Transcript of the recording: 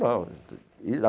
Não.